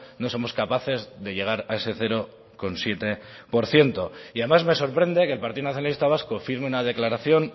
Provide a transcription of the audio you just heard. no somos capaces de llegar a ese cero coma siete por ciento y además me sorprende que el partido nacionalista vasco firme una declaración